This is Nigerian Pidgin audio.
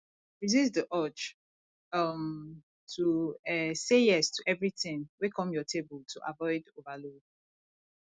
resist di urge um to um say yes to everything wey come your table to avoid overload